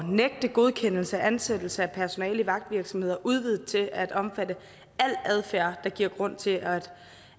nægte godkendelse af ansættelse af personale i vagtvirksomheder udvidet til at omfatte al adfærd der giver grund til at